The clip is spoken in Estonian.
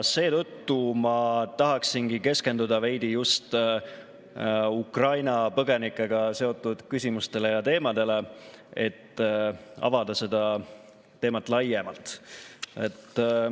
Seetõttu ma tahaksingi keskenduda veidi just Ukraina põgenikega seotud küsimustele ja teemadele, et avada neid laiemalt.